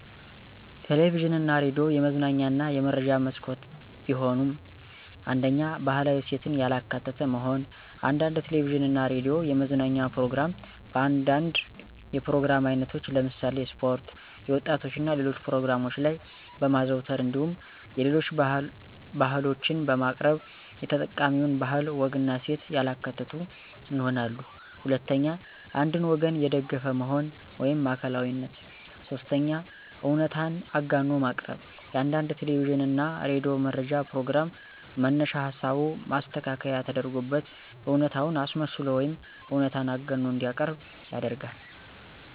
ቴሌቪዥን እና ሬዲዮ የመዝናኛ እና የመረጃ መስኮት ቢሆኑም፤ 1ኛ, ባህላዊ እሴትን ያላካተተ መሆን፦ አንዳንድ ቴለቪዥን እና ሬዲዮ የመዝናኛ ፕሮግራም በአንዳንድ የፕሮግራም አይነቶች ለምሳሌ ስፖርት፣ የወጣቶች እና ሌሎች ፕሮግራሞች ላይ በማዘውተር እንዲሁም የሌሎች ባህሎችን በማቅረብ የተጠቃሚውን ባህል፣ ወግና እሴት ያላካተቱ ይሆናሉ። 2ኛ, አንድን ወገን የደገፈ መሆን (ማዕከላዊነት)፦ 3ኛ, እውነታን አጋኖ ማቅረብ፦ የአንዳንድ ቴለቪዥን እና ሬዲዮ መረጃ ፕሮግራም መነሻ ሀሳቡ ማስተካከያ ተደርጎበት እውነታን አስመስሎ ወይም እውነታን አጋኖ እንዲቀርብ ይደረጋል።